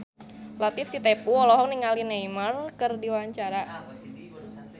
Latief Sitepu olohok ningali Neymar keur diwawancara